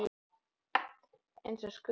eins og Skugga-Sveinn.